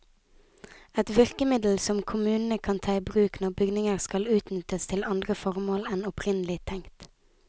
Et virkemiddel som kommunene kan ta i bruk når bygninger skal utnyttes til andre formål enn opprinnelig tenkt.